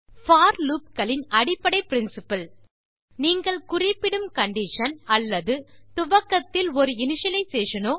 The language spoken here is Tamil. போர் லூப் களின் அடிப்படை பிரின்சிப்பிள் நீங்கள் குறிப்பிடும் கண்டிஷன் அல்லது துவக்கத்தில் ஒரு இனிஷியலைசேஷன் னோ